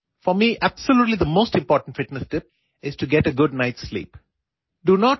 എന്നെ സംബന്ധിച്ചിടത്തോളം ഏറ്റവും മികച്ച ഫിറ്റ്നസ് ടിപ്പ് രാത്രിയിൽ മികച്ച രീതിയിൽ ഉറങ്ങുക എന്നതാണ്